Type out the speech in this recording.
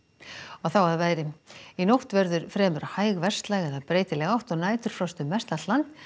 að veðri í nótt verður fremur hæg eða breytileg átt og næturfrost um mestallt land